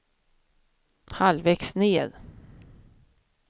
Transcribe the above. halvvägs ned